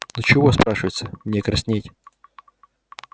ну чего спрашивается мне краснеть